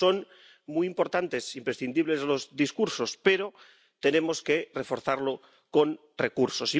Son muy importantes, imprescindibles, los discursos, pero tenemos que reforzarlos con recursos.